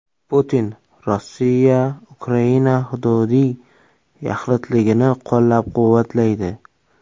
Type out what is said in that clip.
Putin: Rossiya Ukraina hududiy yaxlitligini qo‘llab-quvvatlaydi.